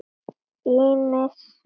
Ýmis svið.